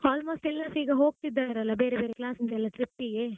Almost ಎಲ್ಲ್ರಸ ಈಗ ಹೋಗ್ತಿದ್ದರಲ್ಲ ಬೇರೆ ಬೇರೆ class ಇಂದ ಎಲ್ಲಾ trip ಗೆ.